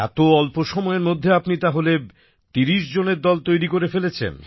এত অল্প সময়ের মধ্যে আপনি তাহলে ৩০ জনের দল তৈরি করে ফেলেছেন